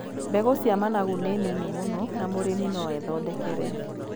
Mbegũ cia managu nĩ nini mũno na mũrĩmi no ethondekere.